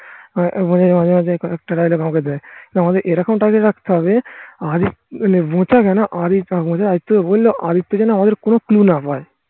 মাঝে মাঝে কয়েকটা দেয় আমাদের এরকম target এ রাখতে হবে মানে কেন আদিত্য যেন আমাদের কোনো clue না পায়